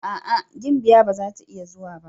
A'a! gimbiya ba zata iya zuwa ba.